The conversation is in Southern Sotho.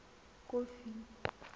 kofi